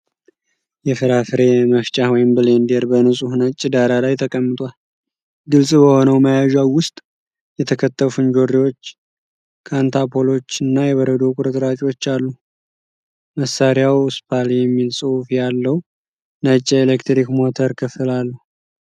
የፍራፍሬ መፍጫ (ብሌንደር) በንጹህ ነጭ ዳራ ላይ ተቀምጧል። ግልጽ በሆነው መያዣው ውስጥ የተከተፉ እንጆሪዎች፣ ካንታሎፖች እና የበረዶ ቁርጥራጮች አሉ። መሣሪያው "ስፓል" የሚል ጽሑፍ ያለው ነጭ የኤሌክትሪክ ሞተር ክፍል አለው።